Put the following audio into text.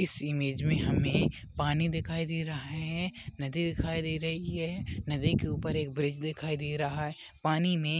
इस इमेज मे हमे पानी दिखाई दे रहा है नदी दिखाई दे रही है नदी के ऊपर एक ब्रिज दिखाई दे रहा है पानी मे